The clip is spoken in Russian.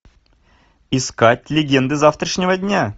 искать легенды завтрашнего дня